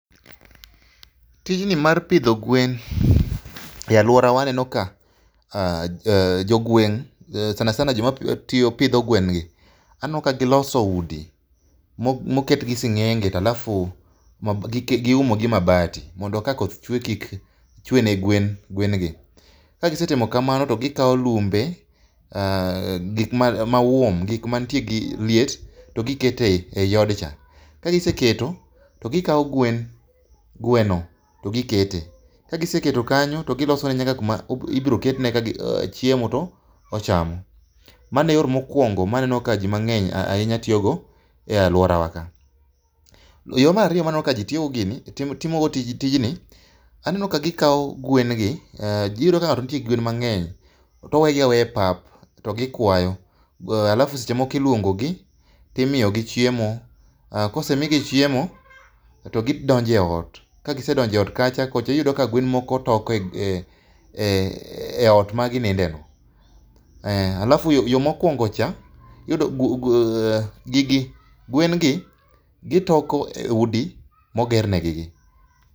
Tijni mar pidho gwen e aluora wa eh jogweng' sana sana joma pidho gwen gi aneno ka giloso udi moket gi sing'enge alafu giumo gi mabati, mondo ka koth chwe kik chwe ne gwen gi. Ka gisetimo kamano to gikawo lumbe, gik ma warm gik mantie gi liet to giketo ei od cha. Ka giseketo to gikawo gwen, gweno to gikete, ka giseketo kanyo to gilosone nyaka kama ibiro ketne chiemo to ochamo. Mano e yo mokuongo ma aneno ka ji mang'eny ahinya tiyogo e aluora wa ka. Yo mar ariyo ma aneno kaji timogo tijni, aneno ka gikawo gwen gi, iyudo ka ng'ato nigi gwen mang'eny to owegi aweya e pap to gikwayo. To alafu seche moko iluongogi to imiyogi chiemo, kosemigi chiemo to gidonjo e ot. Ka gisedonkjo eot kacha, kocha iyudo ka gwen moko toko eot maginindeno. alafu ot mokuongo cha iyudo gwen gi, gitoko eudi moger negigi.